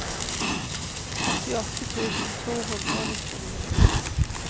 åttiåtte tusen to hundre og nittini